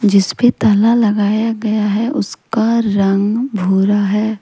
जिसपे ताला लगाया गया है उसका रंग भूरा है।